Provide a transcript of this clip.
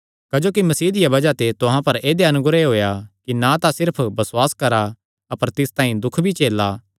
क्जोकि मसीह दिया बज़ाह ते तुहां पर ऐदेया अनुग्रह होएया कि ना सिर्फ तिस पर बसुआस करा अपर तिस तांई दुख भी झेला